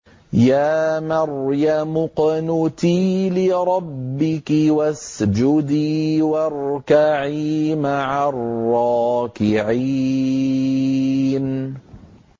يَا مَرْيَمُ اقْنُتِي لِرَبِّكِ وَاسْجُدِي وَارْكَعِي مَعَ الرَّاكِعِينَ